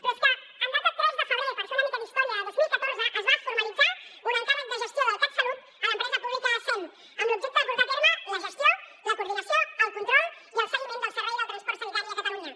però és que en data tres de febrer per fer una mica d’història de dos mil catorze es va formalitzar un encàrrec de gestió del catsalut a l’empresa pública sem amb l’objecte de portar a terme la gestió la coordinació el control i el seguiment del servei del transport sanitari a catalunya